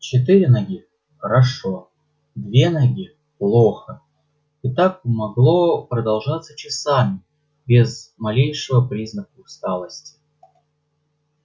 четыре ноги хорошо две ноги плохо и так могло продолжаться часами без малейшего признака усталости